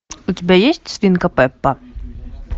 у тебя есть свинка пеппа